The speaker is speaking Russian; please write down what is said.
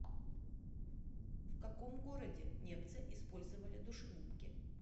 в каком городе немцы использовали душегубки